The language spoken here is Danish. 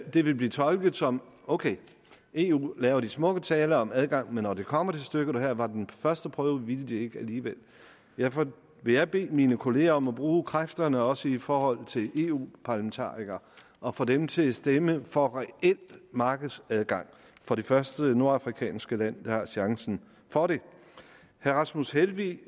ville blive tolket som ok eu laver de smukke taler om adgang men når det kommer til stykket og her var den første prøve vil de ikke alligevel derfor vil jeg bede mine kolleger om at bruge kræfterne også i forhold til eu parlamentarikere og få dem til at stemme for reel markedsadgang for det første nordafrikanske land der har chancen for det herre rasmus helveg